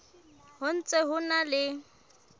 ho ntse ho na le